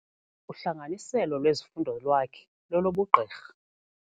Uhlanganiselo lwezifundo lwakhe lolobugqirha.